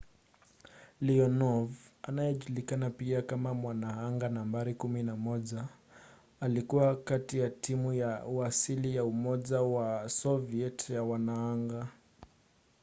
leonov anayejulikana pia kama mwanaanga nambari 11” alikuwa kati ya timu ya kiasili ya umoja wa soviet ya wanaanga